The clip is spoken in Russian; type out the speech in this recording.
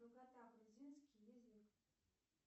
грузинский язык